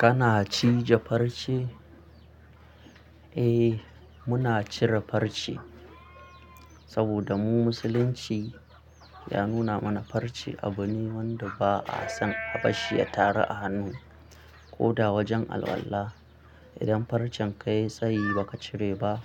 Kana cije farce? Eh muna cire farce saboda mu musulunci ya nuna mana farce abu ne wanda ba a son abarshi ya taru a hannu ko da wajen alwala. Idan farcen kayi tsayi baka cire ba